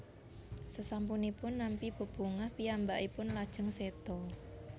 Sesampunipun nampi bebungah piyambakipun lajeng séda